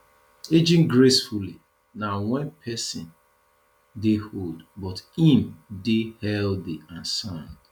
ageing gracefully na when person dey old but im dey healthy and sound